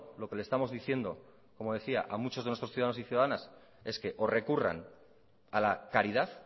lo que le estamos diciendo como decía a muchos de nuestros ciudadanos y ciudadanas es que o recurran a la caridad